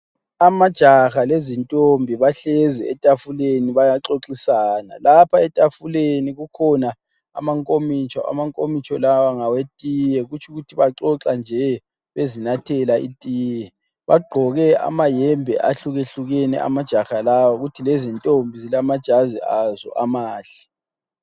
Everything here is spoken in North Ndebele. Amajaha lezintombi bahlezi etafuleni bayaxoxisana. Lapha etafuleni kukhona amakomitsho. Amakomitsho lawa ngawetiye. Kutsho ukuthi baxoxa nje bezinathela itiye. Bagqoke amayembe ahlukehlukene amajaha lawa kuthi lezintombi zilamajazi azo amahle.